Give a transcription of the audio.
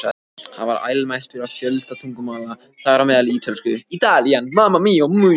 Hann var almæltur á fjölda tungumála, þar á meðal ítölsku.